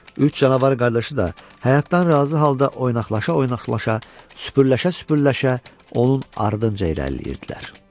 Üç canavar qardaşı da həyatdan razı halda oynaqladaşa-oynaqladaşa, süpürüləşə-süpürüləşə onun ardınca irəliləyirdilər.